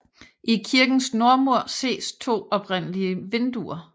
I kirkens nordmur ses to oprindelige vinduer